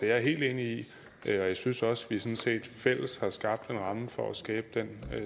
jeg helt enig i og jeg synes også at vi sådan set fælles har skabt en ramme for at skabe den